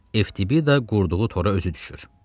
EFTB-də qurduğu tora özü düşür.